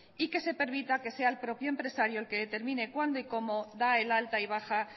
y que se permita que sea el propio empresario el que determine cuándo y cómo da el alta y baja